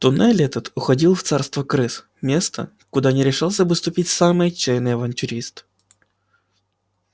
туннель этот уходил в царство крыс место куда не решился бы ступить самый отчаянный авантюрист